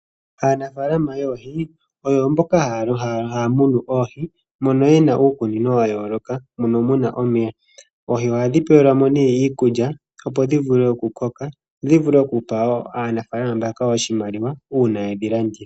Aanafaalama yoohi oyo mboka haa munu oohi moka ye na uukunino wa yooloka mono muna omeya oohi ohadhi pewelwa mo iikilulya dho dhi vule oku koka dho dhi vule okupa aanafalama mbaka oshimaliwa uuna yedhi landitha.